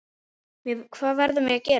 Hvað verðum við að gera?